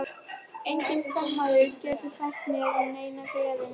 Enginn kvenmaður getur fært mér neina gleði nema þú.